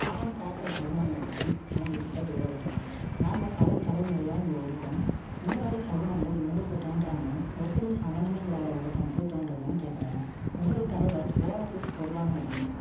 அவங்க கிட்ட விவரிக்கிரான். நாங்க, பல தலைமுறையா, இங்க இருக்கோம். இந்த மாதிரி சகுனங்கள், எங்களுக்கு தோன்றாம, எப்படி சம்மந்தமே இல்லாத ஒருத்தனுக்கு, தோன்றதுன்னு கேட்கிறாரு இன்னொரு தலைவர், Oasis பொதுவான இடம்